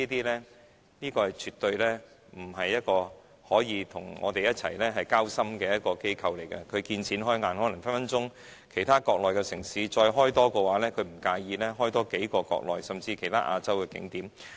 迪士尼集團絕不是一個向我們交心的機構，它見錢開眼，可能隨時會在國內其他城市再開設樂園，也不會介意多建幾個樂園，甚至在其他亞洲地區開發景點。